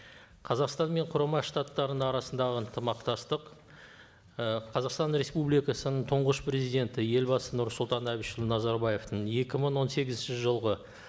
қазақстан мен құрама штаттарының арасындағы ынтымақтастық ы қазақстан республикасының тұңғыш президенті елбасы нұрсұлтан әбішұлы назарбаевтың екі мың он сегізінші жылғы